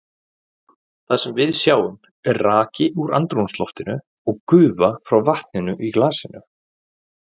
Það sem við sjáum er raki úr andrúmsloftinu og gufa frá vatninu í glasinu.